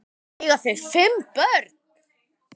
Eiga þau fimm börn.